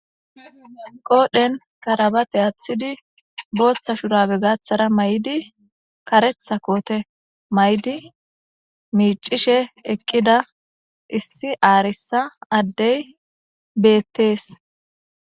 Qodhen karabe athidi Botha shurabe gathara mayidi karetha kote mayidi mic'ishe eqida issi arisa Adey betes.